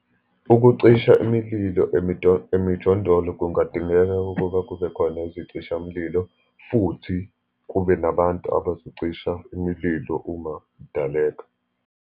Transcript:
Ukucisha imililo emijondolo, kungadingeka ukuba kube khona izicishamlilo, futhi kube nabantu abazocisha imililo uma idaleka.